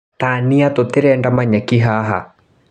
Tania tũtirenda manyeki haha.